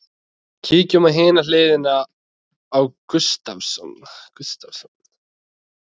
Kíkjum á hina hliðina á Gustavsson.